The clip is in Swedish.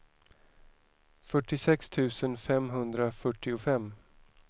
fyrtiosex tusen femhundrafyrtiofem